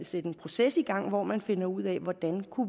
sætte en proces i gang hvor man finder ud af hvordan